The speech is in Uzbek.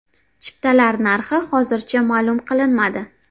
Chiptalar narxi hozircha ma’lum qilinmadi.